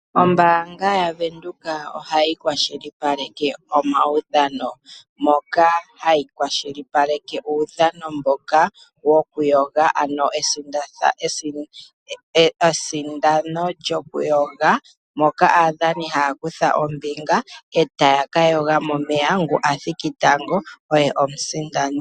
Ombaanga yavenduka ohayi kwashilipaleke omaudhano, moka hayi kwashilipaleke uudhano mboka wokuyoga. Mesindano lyokuyoga, aadhani ohaya kutha ombinga, ngu athiki tango oye omusindani.